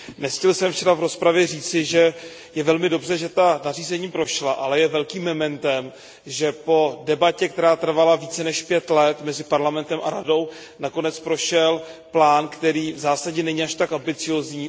Nestihl jsem včera v rozpravě říci, že je velmi dobře, že ta nařízení prošla, ale je velkým mementem, že po debatě, která trvala více než pět let mezi Parlamentem a Radou, nakonec prošel plán, který v zásadě není až tak ambiciózní.